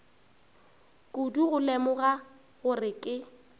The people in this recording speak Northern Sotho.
kudu go lemoga gore ke